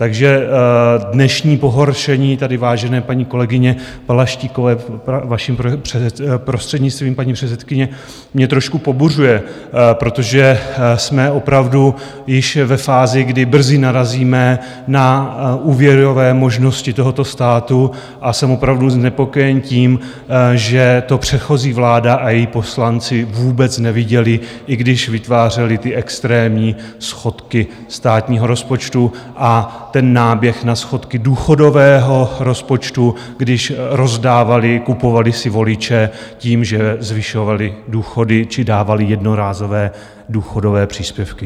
Takže dnešní pohoršení tady vážené paní kolegyně Balaštíkové, vaším prostřednictvím, paní předsedkyně, mě trošku pobuřuje, protože jsme opravdu již ve fázi, kdy brzy narazíme na úvěrové možnosti tohoto státu, a jsem opravdu znepokojen tím, že to předchozí vláda a její poslanci vůbec neviděli, i když vytvářeli ty extrémní schodky státního rozpočtu a ten náběh na schodky důchodového rozpočtu, když rozdávali, kupovali si voliče tím, že zvyšovali důchody či dávali jednorázové důchodové příspěvky.